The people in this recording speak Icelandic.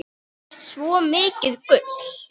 Þú ert svo mikið gull.